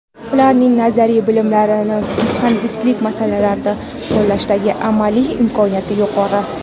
Ularning nazariy bilimlarni muhandislik masalalarida qo‘llashdagi amaliy imkoniyati yuqori.